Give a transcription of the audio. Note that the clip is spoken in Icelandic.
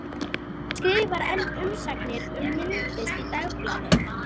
En hann skrifar enn umsagnir um myndlist í Dagblaðið.